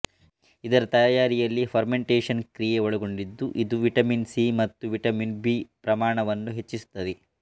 ಇದರ ತಯಾರಿಯಲ್ಲಿ ಫರ್ಮೆಂಟೇಶನ್ ಕ್ರಿಯೆ ಒಳಗೊಂಡಿದ್ದು ಇದು ವಿಟಮಿನ್ ಸಿ ಮತ್ತು ವಿಟಮಿನ್ ಬಿ ಪ್ರಮಾಣವನ್ನು ಹೆಚ್ಚಿಸುತ್ತದೆ